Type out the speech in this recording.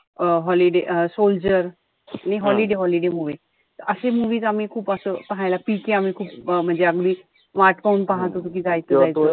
अं holiday अं soldier holiday holiday movie अशे movies आम्ही खूप असं पाहायला. PK आम्ही खूप म्हणजे अगदी वाट पाहून होतो कि जायचंय.